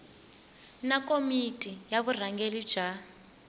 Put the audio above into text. na komiti ya vurhangeri bya